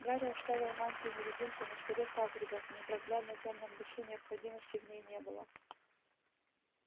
гарри оставил мантию-невидимку на столе хагрида в непроглядно тёмном лесу необходимости в ней не было